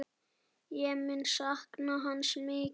Ég mun sakna hans mikið.